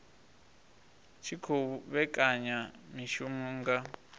tshi khou vhekanya mishumo nga